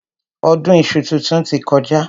Ọdún iṣu titun ti kọjá.